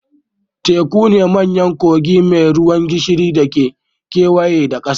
Tekuna manyan kogi mai ruwan gishiri da ke kewaye da ƙasa